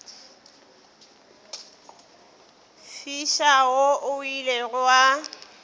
fiša wo o ilego wa